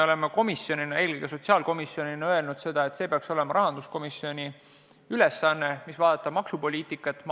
Ent sotsiaalkomisjonina oleme seisukohal, et peaks olema rahanduskomisjoni ülesanne analüüsida maksupoliitikat.